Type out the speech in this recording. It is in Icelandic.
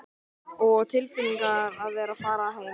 Og tilfinningin að vera að fara að heiman.